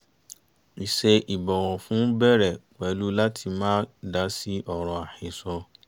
ìṣe ìbọ̀wọ̀ fún bẹ̀rẹ̀ pẹ̀lú láti má dá sí ọ̀rọ̀ àhẹsọ́